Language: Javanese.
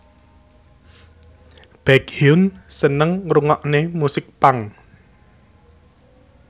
Baekhyun seneng ngrungokne musik punk